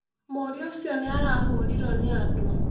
Mũriu ũcio nĩ arahũrirũo nĩ andũ.